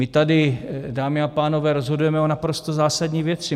My tady, dámy a pánové, rozhodujeme o naprosto zásadní věci.